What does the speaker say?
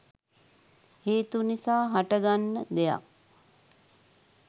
හේතු නිසා හට ගන්න දෙයක්.